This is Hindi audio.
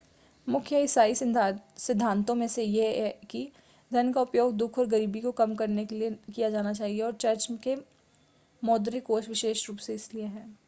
मुख्य ईसाई सिद्धातों में से एक यह है कि धन का उपयोग दुख और गरीबी को कम करने के लिए किया जाना चाहिए और चर्च के मौद्रिक कोष विशेष रूप से इसीलिए हैं